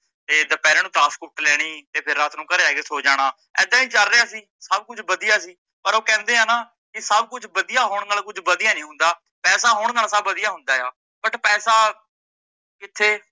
ਤੇ ਦੁਪਹਿਰਾ ਨੂੰ ਤਾਸ਼ ਕੁੱਟ ਲੈਣੀ ਤੇ ਫਿਰ ਰਾਤ ਨੂੰ ਘਰੇ ਆਕੇ ਸੋ ਜਾਣਾ ਏਦਾਂ ਹੀ ਚੱਲ ਰਿਹਾ ਸੀ, ਸੱਭ ਕੁਝ ਵਧੀਆ ਸੀ, ਪਰ ਓਹ ਕਹਿੰਦੇ ਆ ਨਾਂ ਕੀ ਸੱਭ ਕੁਝ ਵਧੀਆ ਹੋਣ ਨਾਲ ਕੁਝ ਵਧੀਆ ਨਹੀਂ ਹੁੰਦਾ ਪੈਸਾ ਹੋਣ ਨਾਲ ਸੱਭ ਵਧੀਆ ਹੁੰਦਾ ਆ but ਪੈਸਾ ਕੀਥੇ